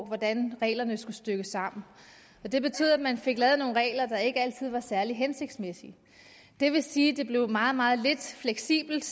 hvordan reglerne skulle stykkes sammen det betød at man fik lavet nogle regler der ikke altid var særlig hensigtsmæssige det vil sige at det blev meget meget lidt fleksibelt